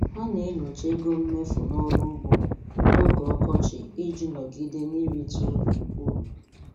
Ha na-enyocha ego mmefu n'ọrụ ugbo n'oge ọkọchị iji nọgide n'erite uru uru